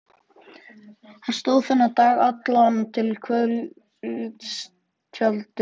Hann stóð þennan dag allan til kvölds við tjalddyrnar.